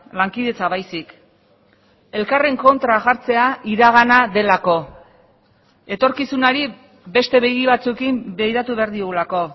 lankidetza baizik elkarren kontra jartzea iragana delako etorkizunari beste begi batzuekin begiratu behar diogulako